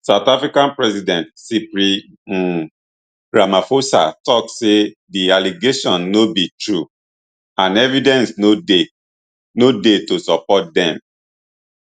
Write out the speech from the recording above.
south african president cyril um ramaphosa tok say di allegations no be true and evidence no dey no dey to support dem